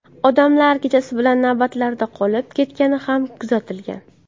Odamlar kechasi bilan navbatlarda qolib ketgani ham kuzatilgan.